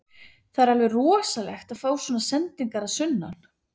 Það er alveg rosalegt að fá svona sendingar að sunnan.